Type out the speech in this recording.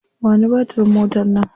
Ba ni batirin motar nan.